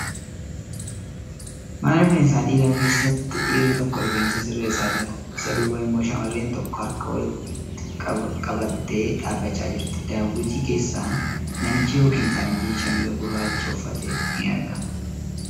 Mana rifeensaa dhiiraa keessatti dhiirri tokko rifeensa sirreessaa jira. Isa duuba immoo shamarreen tokko harka walitti qabattee dhaabbachaa jirti. Daawwitii keessan namichi yookan faranjiin shaamiza gurraachq uffate ni argama .